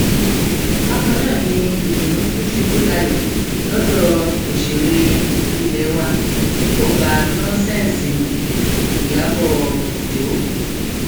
bákan náà ni ìdùnnú tún ṣubú layọ lọdọ òṣèré ilé wa tí kò gba nọńsẹǹsì nni ìyàbọ ọjọ